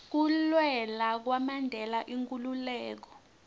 kulwela kwamandela inkhululeko